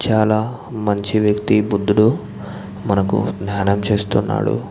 చాలా మంచి వ్యక్తి బుద్దుడు మనకు ధ్యానం చేస్తునాడు.